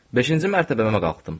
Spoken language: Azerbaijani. Beşinci mərtəbəmə qalxdım.